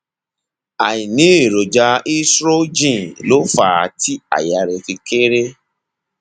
àìní èròjà estrogen ló fà á tí àyà rẹ fi kééré